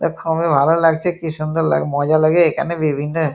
এ খুবই ভালো লাগছে কি সুন্দর লাগে মজা লাগে এখানে বিভিন্ন--